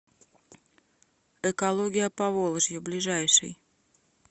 экология поволжья ближайший